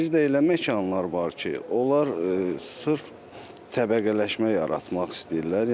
Bir də elə məkanlar var ki, onlar sırf təbəqələşmə yaratmaq istəyirlər.